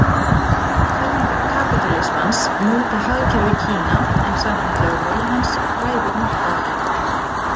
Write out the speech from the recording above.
Kenningar kapítalismans móta hagkerfi Kína en samkvæmt lögmálum hans ræður markaðurinn.